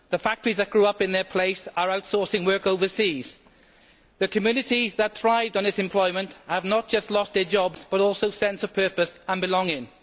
The factories that grew up in their place are outsourcing work overseas. The communities that thrived on this employment have not just lost their jobs but also their sense of purpose and belonging.